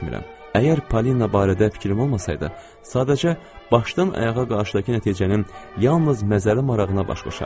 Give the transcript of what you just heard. Əgər Polina barədə fikrim olmasaydı, sadəcə başdan-ayağa qarşıdakı nəticənin yalnız məzəri marağına baş qoşardım.